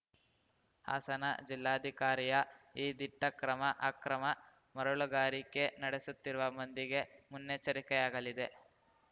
ಹಾಸನ ಜಿಲ್ಲಾಧಿಕಾರಿಯ ಈ ದಿಟ್ಟಕ್ರಮ ಅಕ್ರಮ ಮರಳುಗಾರಿಕೆ ನಡೆಸುತ್ತಿರುವ ಮಂದಿಗೆ ಮುನ್ನೆಚ್ಚರಿಕೆಯಾಗಲಿದೆ